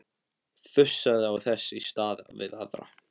Þusaði þess í stað við aðra.